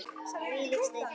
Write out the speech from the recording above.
Þvílík steypa!